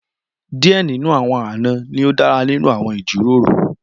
Díẹ̀ nínú àwọn àna ni ó dára nínú àwọn ìjíròrò